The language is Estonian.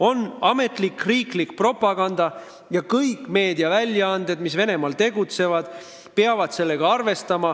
On olemas ametlik, riiklik propaganda, millega peavad arvestama kõik meediakanalid, mis Venemaal tegutsevad.